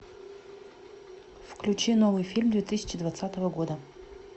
включи новый фильм две тысячи двадцатого года